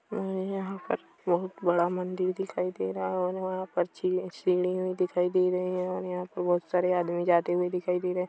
और यहाँ पर बहुत बड़ा मंदिर दिखाई दे रहा हैं और यहाँ पर छी-- सीढियाँ दिखाई दे रही हैं और यहाँ पर बहोत बहोत सारे आदमी जाते हुए दिखाई दे रहे--